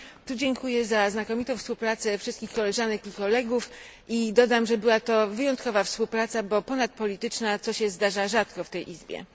W tym miejscu dziękuję za znakomitą współpracę wszystkich koleżanek i kolegów i dodam, że była to wyjątkowa współpraca, bo ponadpolityczna, co zdarza się rzadko w tej izbie.